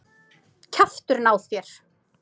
Kjafturinn á þér!